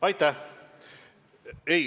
Aitäh!